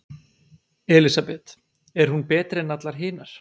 Elísabet: Er hún betri en allar hinar?